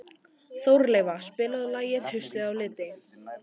Þórelfa, spilaðu lagið „Haustið á liti“.